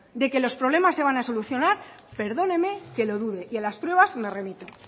de que los problemas se van a solucionar perdóneme que lo dude y a las pruebas me remito